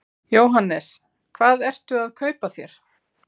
Jóhannes: Hvað ertu að kaupa þér?